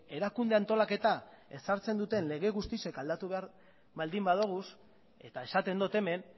erakunde antolaketa ez sartzen duten lege guztiak aldatu behar baldin badugu eta esaten dut hemen